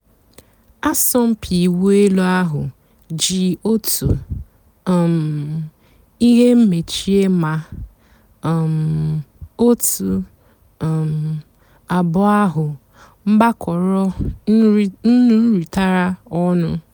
àsọ̀mpị́ ị̀wụ́ èlú àhú́ jì ótú um ị́hé mèchíé má um ótú um àbụ́ọ́ àhú́ gbàkọ́rọ́ nụ́rị́tàrá ọnụ́.